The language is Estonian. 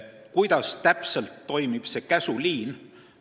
Kuidas täpselt toimib käsuliin?